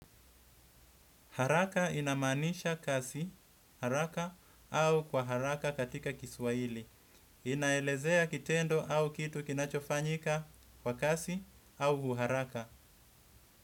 Haraka inamaanisha kasi haraka au kwa haraka katika kiswahili. Inaelezea kitendo au kitu kinachofanyika kwa kasi au uharaka.